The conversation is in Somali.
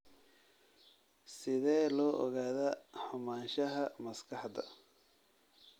Sidee loo ogaadaa xumaanshaha maskaxda?